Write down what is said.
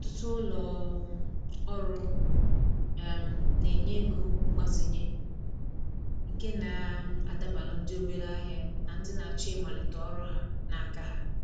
Ọtụtụ ulo um ọrụ um na-enye ego mgbazinye nke na um adabalu ndị obere ahịa na ndị na-achọ ịmalite ọrụ ha n’aka ha.